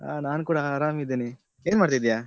ಆ ನಾನು ಕೂಡ ಆರಾಮ್ ಇದ್ದೇನೆ ಏನ್ಮಾಡ್ತಿದ್ದೀಯ?